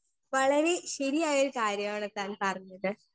Speaker 1 വളരേ ശെരിയായൊരു കാര്യാണ് താൻ പറഞ്ഞത്.